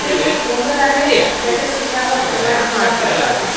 हे एक डोंगर आहे ज्याच्या शिखरावर भगवा झेंडा फडकत आहे.